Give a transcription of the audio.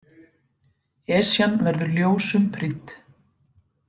Esjan verður ljósum prýdd